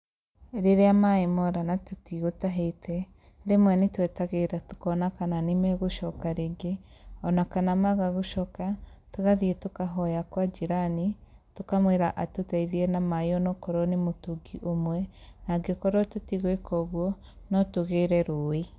Rĩrĩa maĩ mora na tũtigũtahĩte, rĩmwe nĩtwetagĩrĩra tũkona kana nĩmegũcoka rĩngĩ, ona kana maaga gũcoka tũgathiĩ tũkahoya kwa jirani tũkamwĩra atũteithie na maĩ ona wakorwo nĩ mũtũngi ũmwe angĩkorwo tũtigwĩka ũguo, no tũgĩre rũĩ ĩ ĩ